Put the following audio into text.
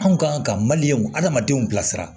Anw kan ka adamadenw bilasira